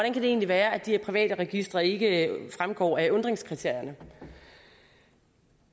egentlig være at de her private registre ikke fremgår af undringskriterierne